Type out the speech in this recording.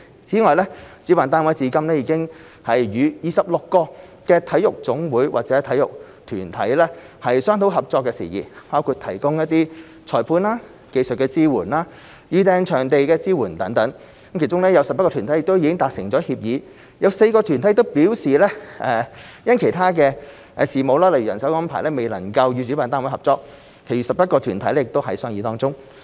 此外，主辦單位至今已與26個體育總會或體育團體商討合作事宜，包括提供裁判、技術支援及預訂場地支援等，其中有11個團體已達成協議、有4個團體表示因其他事務未能與主辦單位合作，其餘11個團體仍在商議當中。